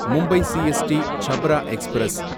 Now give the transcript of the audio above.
Mumbai CST Chhapra express